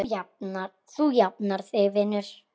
Þú jafnar þig vinur.